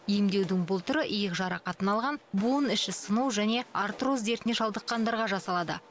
емдеудің бұл түрі иық жарақатын алған буын іші сыну және артроз дертіне шалдыққандарға жасалады